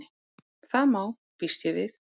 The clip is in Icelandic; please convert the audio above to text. Það má.- býst ég við.